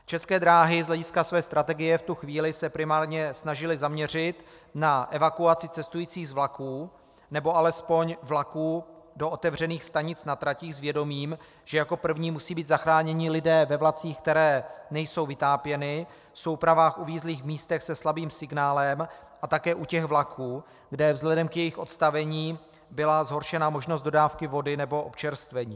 České dráhy z hlediska své strategie v tu chvíli se primárně snažily zaměřit na evakuaci cestujících z vlaků, nebo alespoň vlaků do otevřených stanic na tratích s vědomím, že jako první musí být zachráněni lidé ve vlacích, které nejsou vytápěny, v soupravách uvízlých v místech se slabým signálem a také u těch vlaků, kde vzhledem k jejich odstavení byla zhoršena možnost dodávky vody nebo občerstvení.